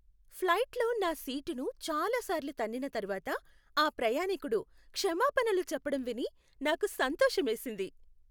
ఫ్లైట్లో నా సీటును చాలాసార్లు తన్నిన తర్వాత ఆ ప్రయాణికుడు క్షమాపణలు చెప్పడం విని నాకు సంతోషమేసింది.